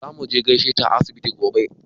Za muje mu gaishe ta a asibiti gobe.